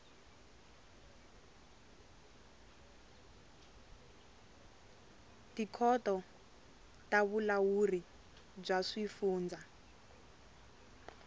tikhoto ta vulawuri bya swifundza